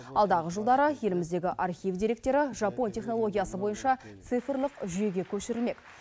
алдағы жылдары еліміздегі архив деректері жапон технологиясы бойынша цифрлық жүйеге көшірмек